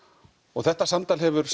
þetta samtal hefur